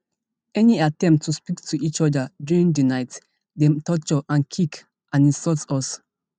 any attempt to speak to each oda during di night dem torture and kick and insult us